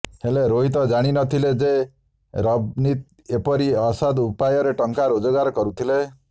ହେଲେ ରୋହିତ ଜାଣିନଥିଲେ ଯେ ରଭନୀତ୍ ଏପରି ଅସଦ୍ ଉପାୟରେ ଟଙ୍କା ରୋଜଗାର କରୁଥିଲେ